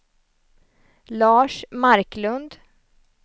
Lars Marklund